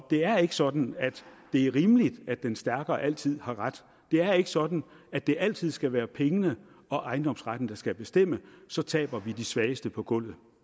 det er ikke sådan at det er rimeligt at den stærkere altid har ret det er ikke sådan at det altid skal være pengene og ejendomsretten der skal bestemme så taber vi de svageste på gulvet